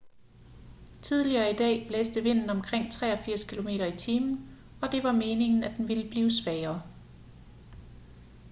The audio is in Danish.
tidligere i dag blæste vinden omkring 83 km/t og det var meningen at den ville blive svagere